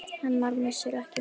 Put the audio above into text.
Hennar missir er mikill.